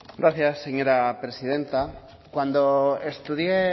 gracias señora presidenta cuando estudié